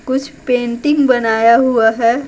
कुछ पेंटिंग बनाया हुआ है।